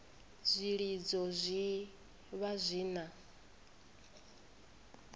zwilidzo zwi vha zwi na